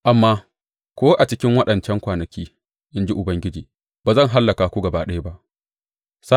Amma ko a cikin waɗancan kwanaki, in ji Ubangiji, ba zan hallaka ku gaba ɗaya ba.